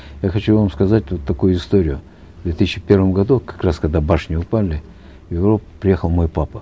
я хочу вам сказать вот такую историю в две тысячи первом году как раз когда башни упали в европу приехал мой папа